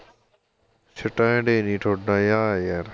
stand ਹੀ ਨੀ ਤੁਹਾਡਾ ਜਾ ਯਾਰ